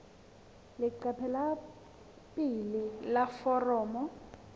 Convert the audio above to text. leqephe la pele la foromo